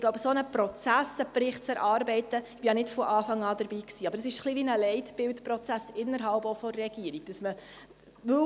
Ich glaube, ein solcher Prozess, die Erarbeitung eines Berichts – ich war ja nicht von Anfang an dabei –, ist innerhalb der Regierung ein bisschen wie ein Leitbildprozess.